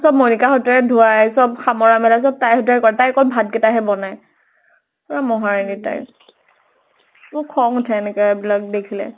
চব মনিকা হঁতে ধুৱাই । চব সামৰা মেলা চব তাই হেতুৱাই কৰাই । তাই অকল ভাত কেইতা হে বনাই । পুৰা মহাৰাণী type । মোৰ খং উঠে, এনেকে এইবিলাক দেখিলে ।